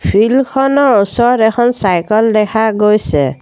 Field খনৰ ওচৰত এখন চাইকেল দেখা গৈছে।